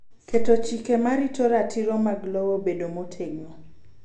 Keto chike ma rito ratiro mag lowo bedo motegno.